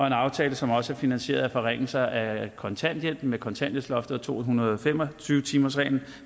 en aftale som også er finansieret gennem forringelser af kontanthjælpen via kontanthjælpsloftet og to hundrede og fem og tyve timersreglen